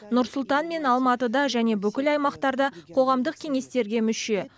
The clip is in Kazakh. нұр сұлтан мен алматыда және бүкіл аймақтарда қоғамдық кеңестерге мүше